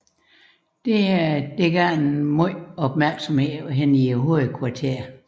Dette vakte en vis opmærksomhed i hovedkvarteret